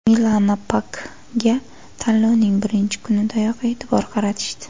Milana Pakga tanlovning birinchi kunidayoq e’tibor qaratishdi.